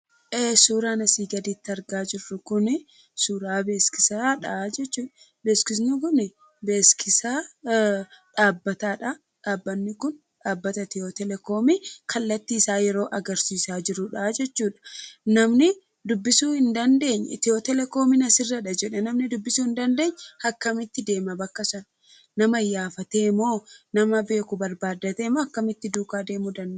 Suuraan asii gaditti argaa jirru kun suuraa beeksisaadha jechuudha. Beeksifti kun beeksisa dhaabbataadha dhaabbatni kun dhaabbata Etiyoo Telekoomii kallattii isaa yeroo agarsiisaa jirudhaa jechuudha. Namni dubbisuu hin dandeenye Etiyoo Telekoomiin asirradha jedhee dubbisuu kan hin dandeenye akkamitti deema bakkasaa? Nama iyyaafatee moo nama beeku barbaaddatee akkamitti duukaa deemuu danda'a?